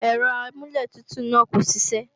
Ẹ̀rọ amúlẹ̀tutù náà kò ṣiṣẹ́